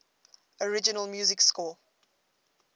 original music score